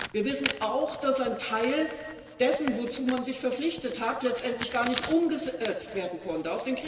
Wir wissen auch, dass ein Teil dessen, wozu man sich verpflichtet hat, letztendlich gar nicht umgesetzt werden konnte.